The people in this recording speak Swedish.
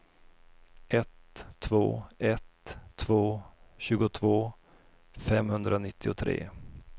ett två ett två tjugotvå femhundranittiotre